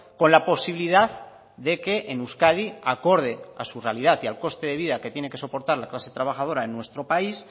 con la posibilidad de que en euskadi acorde a su realidad y al coste de vida que tiene que soportar la clase trabajadora en nuestro país